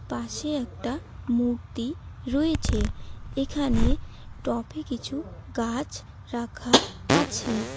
পাশে একটা মূর্তি রয়েছে এখানে টফ -এ কিছু গাছ রাখা আছে।